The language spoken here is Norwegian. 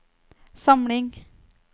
samling